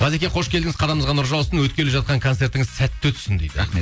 ғазеке қош келдіңіз қадамыңызға нұр жаусын өткелі жатқан концертіңіз сәтті өтсін дейді рахмет